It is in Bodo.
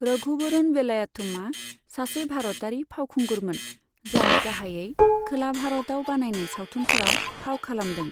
रघुवरन वेलायुथमआ सासे भारतारि फावखुंगुरमोन, जाय गाहायै खोला भारतआव बानायनाय सावथुनफोराव फाव खालामदों।